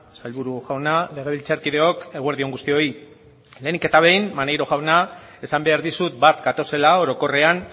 sailburu jauna legebiltzarkideok eguerdi on guztioi lehenik eta behin maneiro jauna esan behar dizut bat gatozela orokorrean